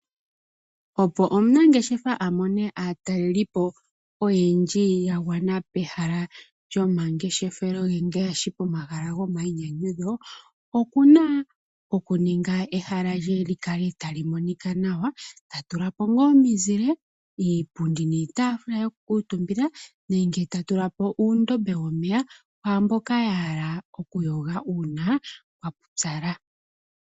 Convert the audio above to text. Opo omunangeshefa a mone aataleli po oyendji yagwana pehala lyomangeshefelo ngaashi pohala gomainyanyudho okuna oku ninga ehala lye li kale tali monika nawa, ta tula po omizile, iipundi niitaafula yoku kuutumbila nenge ta tula po uundombe womeya kwamboka ya hala oku yoga uuna kwa pupyala.